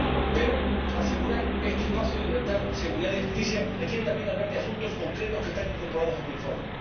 Pero asegurar este espacio de libertad, seguridad y justicia requiere también hablar de asuntos concretos que están incorporados a este informe.